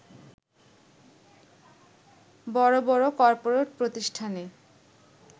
বড় বড় কর্পোরেট প্রতিষ্ঠানে